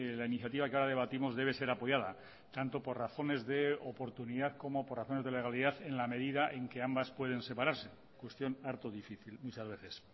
la iniciativa que ahora debatimos debe ser apoyada tanto por razones de oportunidad como por razones de legalidad en la medida en que ambas pueden separarse cuestión harto difícil muchas veces